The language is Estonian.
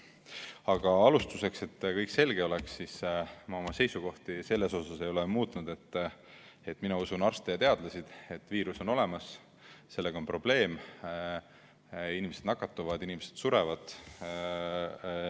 Aga alustuseks, et kõik selge oleks, ma oma seisukohti selles osas ei ole muutnud, et mina usun arste ja teadlasi, et viirus on olemas, sellega on probleem, inimesed nakatuvad, inimesed surevad.